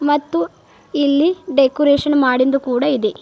ಮತ್ತು ಇಲ್ಲಿ ಡೆಕೋರೇಷನ್ ಮಾಡಿಂದು ಕೂಡ ಇದೆ.